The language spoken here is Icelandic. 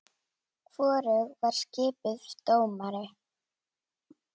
Hvorug var skipuð dómari.